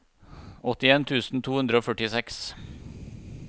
åttien tusen to hundre og førtiseks